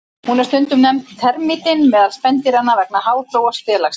Hún er stundum nefnd termítinn meðal spendýranna vegna háþróaðs félagslífs.